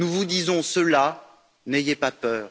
Nous vous disons cela n'ayez pas peur!